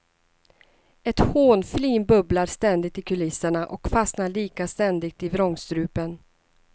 Ett hånflin bubblar ständigt i kulisserna och fastnar lika ständigt i vrångstrupen.